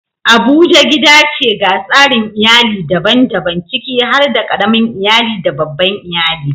Abuja gida ce ga tsarin iyali daban-daban, ciki har da ƙaramin iyali da babban iyali.